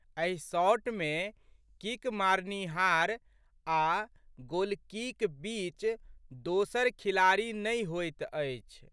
एहि शॉट मे किक मारनिहार आ' गोलकीक बीच दोसर खिलाड़ी नहि होइत अछि।